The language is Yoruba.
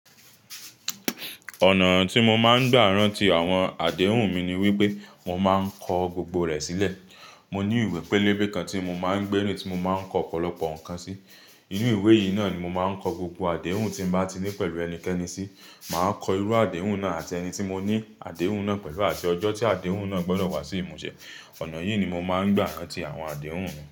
Ọ̀nà tí mo máa ń gbà rántí àwọn àdéhùn mi ni wípé mo máa ń kọ gbogbo rẹ̀ sílẹ̀. Mo ní ìwé pélébé kan tí mo máa ń gbé nù tí mo máa ń kọ ọ̀pọ̀lọpọ̀ nǹkan sí. Inú ìwé yìí náà ni mo máa ń kọ gbogbo àdéhùn tí mo bá ti ní pẹ̀lú ẹnikẹ́ni sí. Màá kọ irú àdéhùn náà àti ẹni tí mo ní àdéhùn náà pẹ̀lú àti ọjọ́ tí àdéhùn náà gbọdọ̀ wá sí ìmúṣẹ. Ọ̀nà yìí ni mo máa ń gbà rántí àwọn àdéhùn mi.